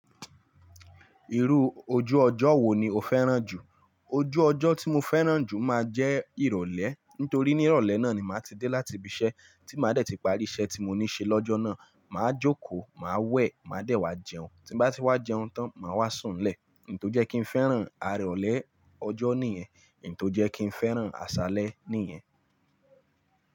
Irú ojú ọjọ́ wo ni o fẹ́ràn jù? Ojú ọjọ́ tí mo fẹ́ràn jù máa jẹ́ Ìrọ̀lẹ́ nítorí ní ìrọ̀lẹ́ náà ni màá ti dé láti ibi iṣẹ́ tí màá dẹ̀ ti parí iṣẹ́ tí mo ní ṣe lọ́jọ́ náà. Màá jókòó, màá wẹ̀, màá dẹ̀ wá jẹun. Tí bá ti wá jẹun tán, màá wá sùn nlẹ̀. Nì tó jẹ́ kí n fẹ́ràn aré ọ̀lẹ ọjọ́ nìyẹn, nì tó jẹ́ kí n fẹ́ràn àṣálẹ́ nìyẹn.